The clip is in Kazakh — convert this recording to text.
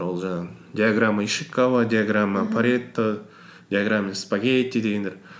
ол жыңағы диаграмма диаграмма паретто диаграмма спагетти дегендер